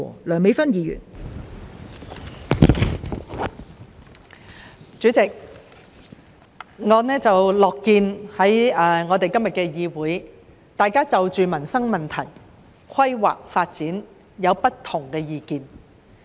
代理主席，我樂見在今天的議會，大家就民生問題、規劃發展有不同的意見。